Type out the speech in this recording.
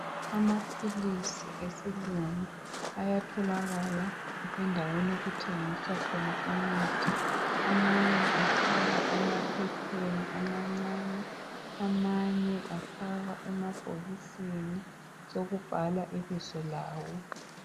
Amaphilisi esilungu ayatholakala endaweni okuthengiswa khona imithi .Amanye afakwa emaphepheni amancane .Amanye afakwa emabhokisini sokubhalwa ibizo lawo .